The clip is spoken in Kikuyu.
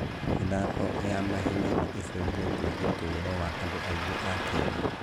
mĩthako ya mahenya nĩ ĩcenjetie ũtũũro wa andũ aingĩ a Kenya.